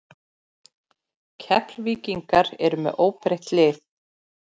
Keflvíkingar eru með óbreytt lið.